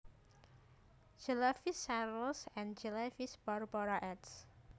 Jelavich Charles and Jelavich Barbara eds